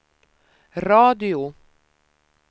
radio